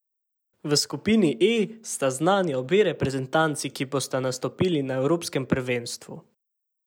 V skupini E sta znani obe reprezentanci, ki bosta nastopili na evropskem prvenstvu.